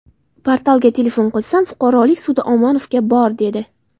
Portalga telefon qilsam, fuqarolik sudi Omonovga bor, dedi.